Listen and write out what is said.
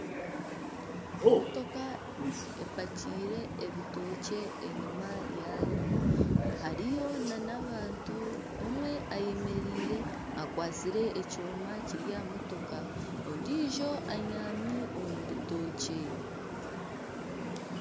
Emotoka epakyire ebitookye enyima yayo hariyo n'abantu omwe ayemereire akwatsire ekyoma Kiri aha motoka ondijo anyaami omu bitookye.